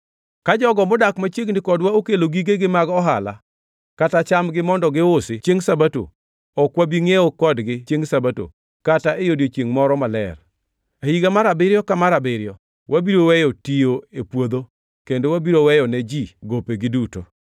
“Ka jogo modak machiegni kodwa okelo gigegi mag ohala kata chambgi mondo giusi chiengʼ Sabato, ok wabi ngʼiewo kodgi chiengʼ Sabato kata e odiechiengʼ moro maler. E higa mar abiriyo ka mar abiriyo wabiro weyo tiyo e puodho kendo wabiro weyone ji gopegi duto.